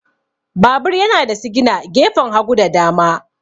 Babur yana da sigina gefen hagu da dama.